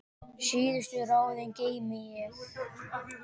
Síðustu ráðin geymi ég.